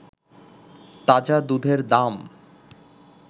তাজা দুধের দাম